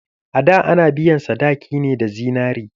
A da ana biyan sadaki ne da zinari.